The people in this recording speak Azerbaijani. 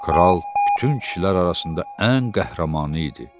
Kral bütün kişilər arasında ən qəhrəmanı idi.